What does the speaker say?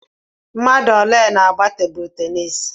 Mmadụ ole na-àgbá tebụ ténisi?